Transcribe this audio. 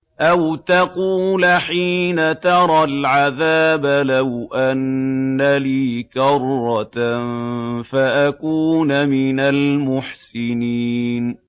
أَوْ تَقُولَ حِينَ تَرَى الْعَذَابَ لَوْ أَنَّ لِي كَرَّةً فَأَكُونَ مِنَ الْمُحْسِنِينَ